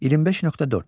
25.4.